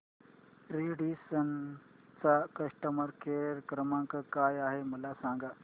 Radisson चा customer care क्रमांक काय आहे मला सांगा